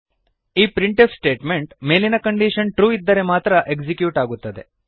ಈ print f statement ಮೇಲಿನ condition true ಇದ್ದರೆ ಮಾತ್ರ ಎಕ್ಸಿಕ್ಯೂಟ್ ಆಗುತ್ತದೆ